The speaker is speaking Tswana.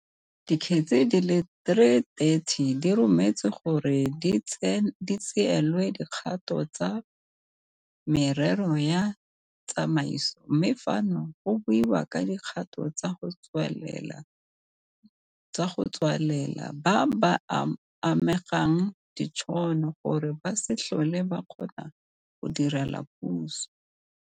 Dikgetse di le 330 di rometswe gore di tseelwe dikgato tsa merero ya tsamaiso, mme fano go buiwa ka dikgato tsa go tswalela ba ba amegang ditšhono, gore ba se tlhole ba kgona go direla puso.